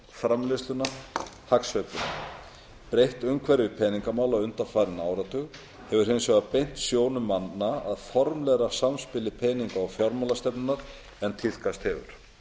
framleiðsluna hagsveifluna breytt umhverfi peningamála undanfarinn áratug hefur hins vegar beint sjónum manna að formlegra samspili peninga og fjármálastefnunnar en tíðkast hefur